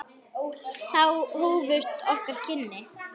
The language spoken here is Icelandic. Þá hófust okkar kynni.